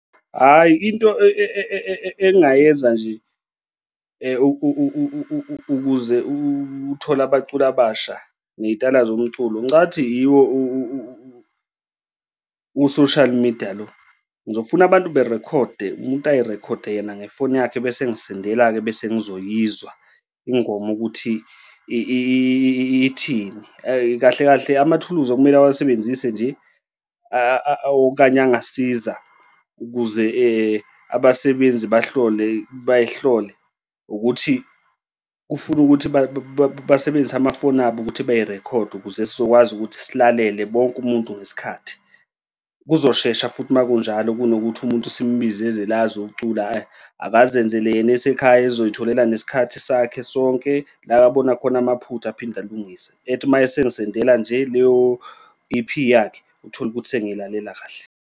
Hhayi, into engingayenza nje ukuze uthole abaculi abasha ney'tayela zomculo, ngicathi yiwo u-social media lo. Ngizofuna abantu berekhode umuntu ay'rekhode yena ngefoni yakho ebese engisendela-ke bese ngizoyizwa ingoma ukuthi ithini kahle kahle amathuluzi okumele awasebenzise nje okanye angasiza ukuze abasebenzi bahlole bey'hlole ukuthi kufuna ukuthi basebenzise amafoni abo ukuthi bay'rekhode ukuze sizokwazi ukuthi silalele bonke umuntu ngesikhathi. Kuzoshesha futhi uma kunjalo, kunokuthi umuntu simbize eze la azocula, hhayi, akazenzele yena esekhaya ezoy'tholela ngesikhathi sakhe sonke la abona khona amaphutha aphinde alungise, athi uma esengisendela nje leyo-E_P yakhe uthole ukuthi sengiyilalela kahle.